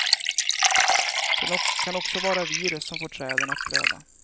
Det kan också vara virus som får träden att blöda.